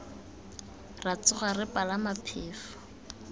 ra tsoga re palama phefo